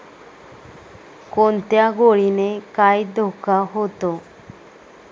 कोणत्या गोळीने काय धोका होतो?